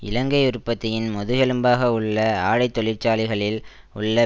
இலங்கை உற்பத்தியின் முதுகெழும்பாக உள்ள ஆடை தொழிற்சாலைகளில் உள்ள